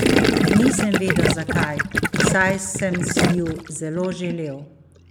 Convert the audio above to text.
Nisem vedel, zakaj, saj sem si ju zelo želel.